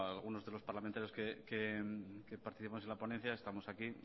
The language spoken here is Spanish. algunos de los parlamentarios que participamos en la ponencia estamos aquí